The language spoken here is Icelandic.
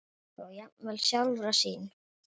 og jafnvel sjálfra sín.